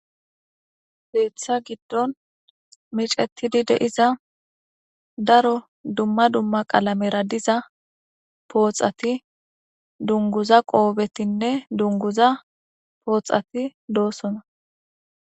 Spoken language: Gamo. Keetha giddon micetidi diza daro dumma dumma qalamera dizapooxat, dunguza qoofetinne dungaza pooxati doosona.